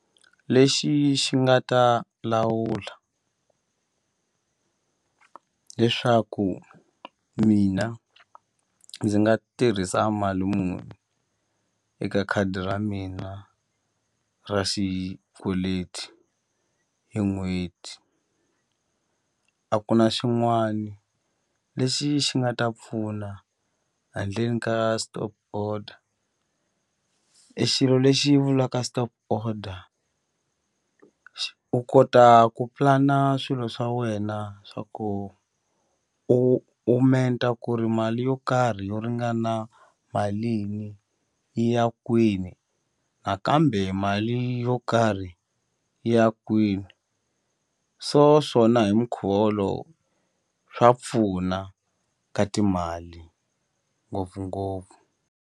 Lexi xi nga ta lawula leswaku mina ndzi nga tirhisa mali muni eka khadi ra mina ra xikweleti hi n'hweti a ku na xin'wani lexi xi nga ta pfuna handleni ka stop order e xilo lexi vulaka stop order u kota ku pulana swilo swa wena swa ku u u menta ku ri mali yo karhi yo ringana malini yi ya kwini nakambe mali yo karhi yi ya kwini so swona hi minkhuva wolowo swa pfuna ka timali ngopfungopfu.